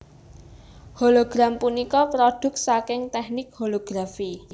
Hologram punika prodhuk saking teknik holografi